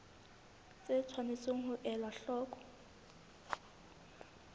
tse tshwanetseng ho elwa hloko